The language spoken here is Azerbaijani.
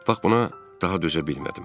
Bax buna daha dözə bilmədim.